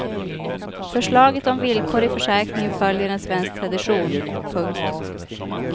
Förslaget om villkor i försäkringen följer en svensk tradition. punkt